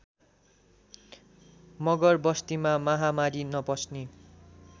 मगरबस्तीमा महामारी नपस्ने